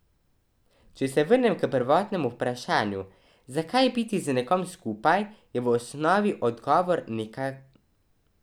Toliko volje, veselja, idej, energije!